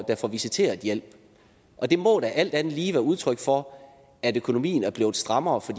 der får visiteret hjælp det må da alt andet lige være udtryk for at økonomien er blevet strammere for